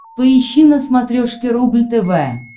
поищи на смотрешке рубль тв